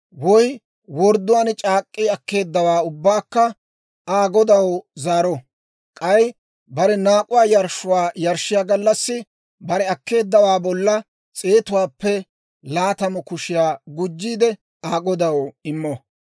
woy wordduwaan c'aak'k'i akkeeddawaa ubbaakka Aa godaw zaaro. K'ay bare naak'uwaa yarshshuwaa yarshshiyaa gallassi bare akkeeddawaa bolla s'eetuwaappe laatamu kushiyaa gujjiide Aa godaw immo.